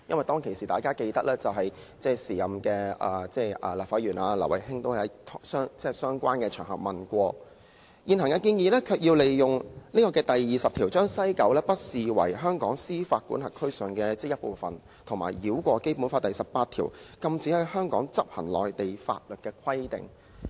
大家也記得，當時前立法會議員劉慧卿亦曾在相關場合提出有關問題，但現行建議卻要利用《基本法》第二十條，把西九不視為香港司法管轄區的一部分，以及繞過《基本法》第十八條，禁止在香港執行內地法律的規定。